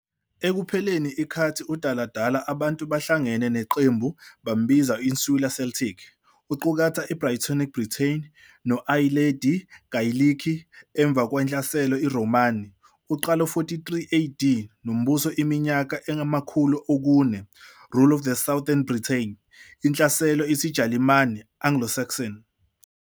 Ekupheleni ikhathi udaladala, abantu bahlangene naqembu bambiza Insular Celtic, uqukatha Brythonic Britain no-i-Ayilendi Geyilikhi. Emva kwaNhlaselo iRhomani, uqala 43 AD, nombuso iminyaka amakhulu okune, rule of southern Britain, inhlaselo isiJalimani, Anglo-Saxon.